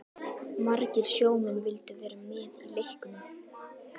Margir sjómenn vildu vera með í leiknum.